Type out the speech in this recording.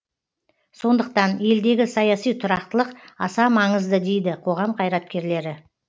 сондықтан елдегі саяси тұрақтылық аса маңызды дейді қоғам қайраткерлері